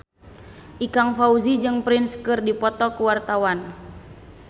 Ikang Fawzi jeung Prince keur dipoto ku wartawan